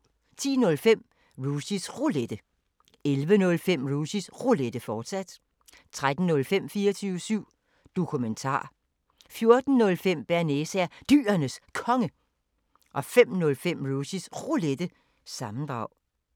10:05: Rushys Roulette 11:05: Rushys Roulette, fortsat 13:05: 24syv Dokumentar 14:05: Bearnaise er Dyrenes Konge 05:05: Rushys Roulette – sammendrag